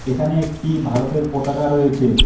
এখানে একটি ভারতের পতাকা রয়েছে।